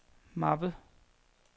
mappe